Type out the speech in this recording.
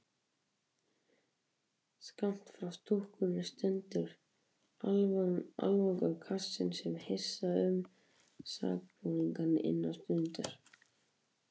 Skammt frá stúkunni stendur aflangur kassinn sem hýsa mun sakborningana innan stundar.